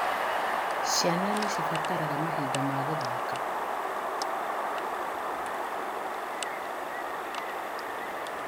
Ciana nĩ cibataraga mahinda ma gũthaka